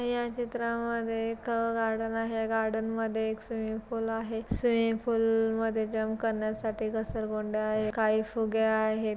या चित्रा मध्ये एक गार्डन आहे. या गार्डन मध्ये एक स्विमिंग पूल आहे. स्विमिंग पूल मध्ये जंप करण्यासाठी गसरगुंडी आहे. काही फुगे आहेत.